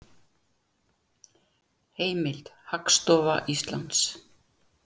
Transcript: Heimild: Hagstofa Íslands